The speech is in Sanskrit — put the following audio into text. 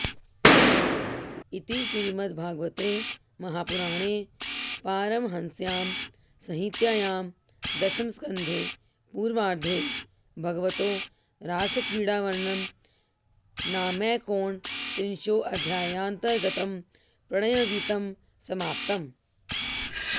इति श्रीमद्भागवते महापुराणे पारमहंस्यां संहितायां दशमस्कन्धे पूर्वार्धे भगवतो रासक्रीडावर्णनं नामैकोनत्रिंशोऽध्यायान्तर्गतं प्रणयगीतं समाप्तम्